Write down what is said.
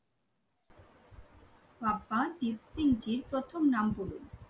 প্রথম নাম বলুন